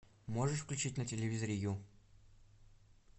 можешь включить на телевизоре ю